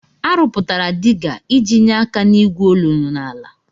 Arụpụtara diga iji nyee aka n'igwu olulu n'ala.